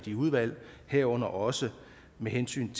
i udvalget herunder også med hensyn